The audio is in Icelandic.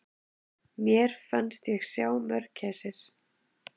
Mér fannst ég sjá mörgæsir!